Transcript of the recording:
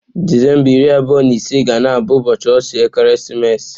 Disemba 25 ga na-abụ ụbọọchi ọchị ekeresimesi.